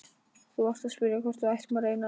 Þú varst að spyrja hvort við ættum að reyna aftur.